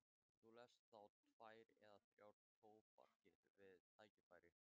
Eru þarna langar trjónur og stautar, allt mjög haganlega gert.